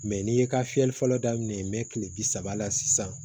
Mɛ n'i ye ka fiyɛli fɔlɔ daminɛ n bɛ kile bi saba la sisan